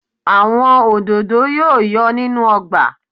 Àwọn òdòdó yóò yọ̀ nínú ọgbà